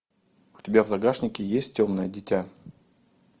у тебя в загашнике есть темное дитя